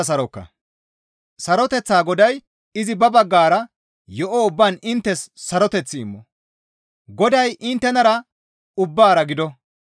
Saroteththaa Goday izi ba baggara yo7o ubbaan inttes saroteth immo; Goday inttenara ubbaara gido.